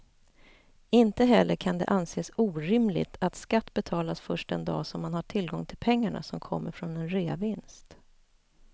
Inte heller kan det anses orimligt att skatt betalas först den dag som man har tillgång till pengarna som kommer från en reavinst.